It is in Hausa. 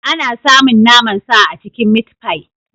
Ana samun naman sa a cikin mitfai.